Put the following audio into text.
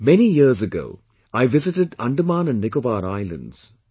Many years ago, I visited Andaman & Nicobar Islands